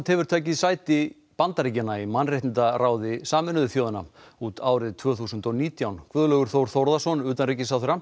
hefur tekið sæti Bandaríkjanna í mannréttindaráði Sameinuðu þjóðanna út árið tvö þúsund og nítján Guðlaugur Þór Þórðarson utanríkisráðherra